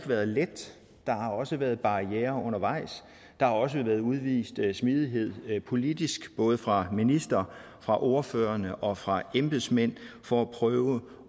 været let der har også været barrierer undervejs der har også været udvist smidighed politisk både fra ministeren fra ordførerne og fra embedsmændene for at prøve